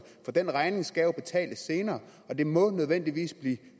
for den regning skal jo betales senere og det må nødvendigvis blive de